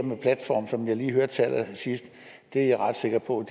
med platforme som vi lige hørte til allersidst er jeg ret sikker på